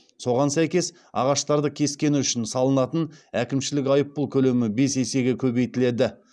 соған сәйкес ағаштарды кескені үшін салынатын әкімшілік айыппұл көлемі бес есеге көбейтіледі